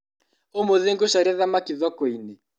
ũmũthĩ ngũcaria thamaki thokoinĩ.